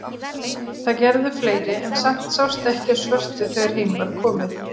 Það gerðu fleiri en samt sást ekki á svörtu þegar heim var komið.